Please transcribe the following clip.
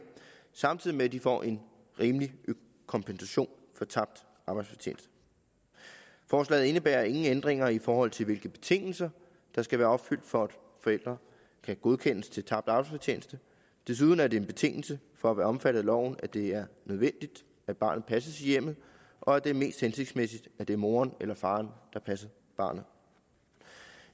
samtidig med at de får en rimelig kompensation for tabt arbejdsfortjeneste forslaget indebærer ingen ændringer i forhold til hvilke betingelser der skal være opfyldt for at forældre kan godkendes til tabt arbejdsfortjeneste desuden er det en betingelse for at være omfattet af loven at det er nødvendigt at barnet passes i hjemmet og at det er mest hensigtsmæssigt at det er moderen eller faderen der passer barnet